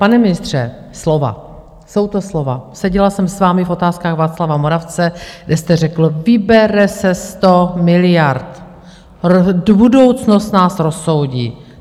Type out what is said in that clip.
Pane ministře, slova, jsou to slova - seděla jsem s vámi v otázkách Václava Moravce, kde jste řekl: Vybere se 100 miliard, budoucnost nás rozsoudí.